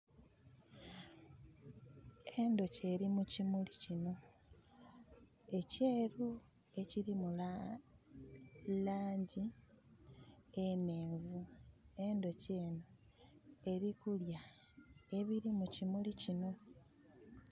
Endhuki eri mukimuli kinho ekyeru ekilimu langi enhenvu. Endhuki enho elikulya ebiri mukimuli kinho